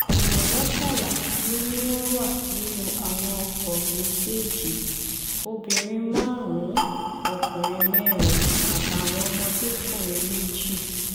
èèyàn mọ́kànlá ló ní wọ́n wà nínú àwọn ọkọ̀ méjèèjì obìnrin márùn-ún ọkùnrin mẹ́rin àtàwọn ọmọdékùnrin méjì